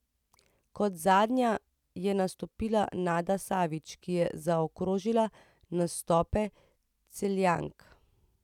Kot zadnja je nastopila Nada Savič, ki je zaokrožila nastope Celjank.